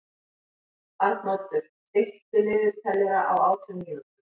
Arnoddur, stilltu niðurteljara á átján mínútur.